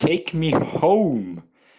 тейк ми хоум